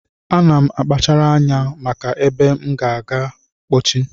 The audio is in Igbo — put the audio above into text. Ana m akpachara anya maka ebe m na-aga mkpochi